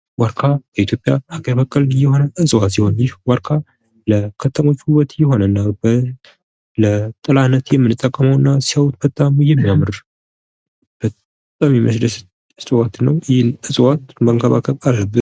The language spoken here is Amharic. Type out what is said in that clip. ዋርካ ይህ የኢትዮጵያ አገር በቀል እፅዋት ሲሆን ይህ የዋርካ ለከተሞች ውበት የሆነና ለጥላሁን የምንጠቀመና በጣም የሚያምር ባህላዊ እፅዋት ነው። ይህን እፅዋት መንከባከብ አለብን ።